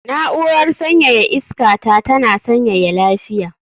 Na'urar sanyaya iska ta tana sanyaya lafiya